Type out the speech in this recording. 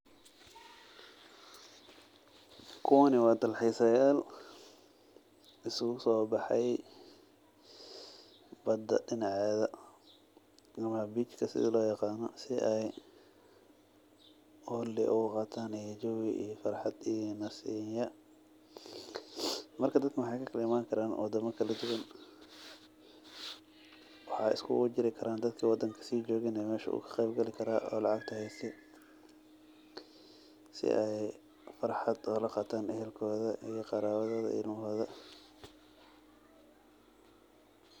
Kuwani wa dalxisayal, iskukusobaxay, badaa dinaceda, ama bech ka ,sidha loyagano, si ay wagti oguqataan jawii iyo farxat iyo nasinya, marka dadka n waxay kaimankaraan wadama kaladuwan, waxay iskulajirikaraan dadka wadanka si jogeen nah mesha way kaqeebkali karaa oo lacagta hayste, sii ay farxat o laqataan ciyalkoda iyo qaraawadoda, ilmaxoda.